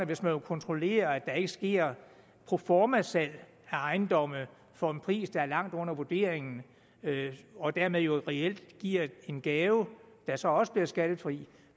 hvis man vil kontrollere at der ikke sker proformasalg af ejendomme for en pris der er langt under vurderingen og dermed jo reelt giver en gave der så også bliver skattefri